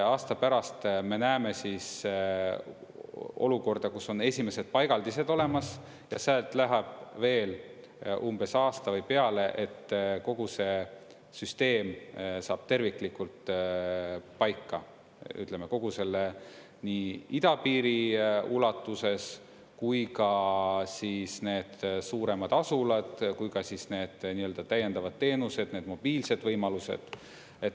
Aasta pärast me näeme olukorda, kus on esimesed paigaldised olemas, ja sealt läheb veel umbes aasta või peale, et kogu süsteem saaks terviklikult paika, ütleme, nii idapiiri ulatuses kui ka need suuremad asulad kui ka need täiendavad teenused, need mobiilsed võimalused.